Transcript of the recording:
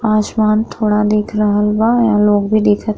आसमान थोड़ा दिख रहल बा। लोग भी दिखत --